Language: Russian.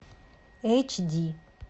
эйч ди